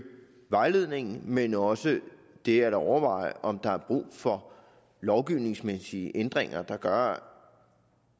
vejledningen men også det at overveje om der er brug for lovgivningsmæssige ændringer der gør